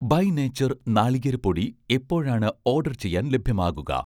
By nature നാളികേര പൊടി എപ്പോഴാണ് ഓഡർ ചെയ്യാൻ ലഭ്യമാകുക?